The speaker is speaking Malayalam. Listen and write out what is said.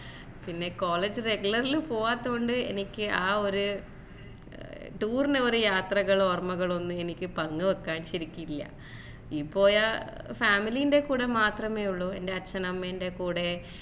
പിന്നെ college regular ൽ പോവാത്ത കൊണ്ട് എനിക്ക് ആ ഒരു tour പറഞ്ഞ യാത്രകളോ ഓര്മകളോ പങ്കുവെക്കാൻ ശെരിക്കില്ല ഇപ്പോയ family ൻറെ കൂടെ മാത്രമേ ഉള്ളു ഇപ്പൊ എന്റെ അച്ഛൻ അമ്മേന്റെ കൂടെ